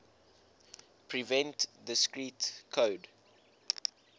prevent discrete code